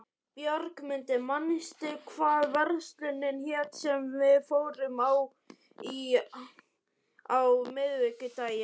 Björgmundur, manstu hvað verslunin hét sem við fórum í á miðvikudaginn?